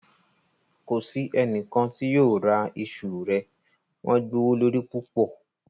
Kò sí ẹnikan tí yóò ra ìṣù rẹ̀, wọn gbowólorí púpọ̀.